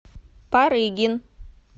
парыгин